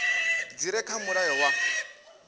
dzi re kha mulayo wa